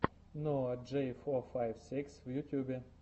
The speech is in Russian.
ноа джей фор файв сикс в ютубе